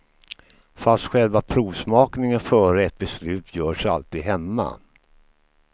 Fast själva provsmakningen före ett beslut görs alltid hemma.